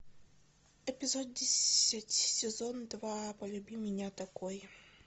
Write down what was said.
эпизод десять сезон два полюби меня такой